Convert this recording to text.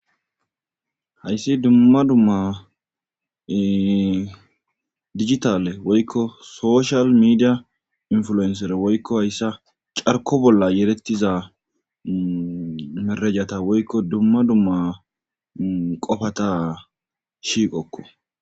Hayssi dumma dumma digitale woykko soshal meidia influenser woykko hayssa carko bolla yerettiza merajata woykko dumma dumma qofata shiqokko